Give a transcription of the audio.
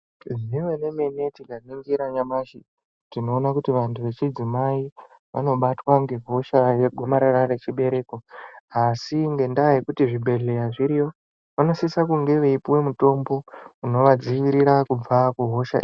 Zvemene-mene tikaningira nyamashi, tinoona kuti vantu vechidzimai, vanobatwa ngehosha yegomarara rechibereko. Asi ngendaa yekuti zvibhedhleya zviriyo, vanosise kunge eipuwe mutombo unovadzivirira kubva kuhosha iyi.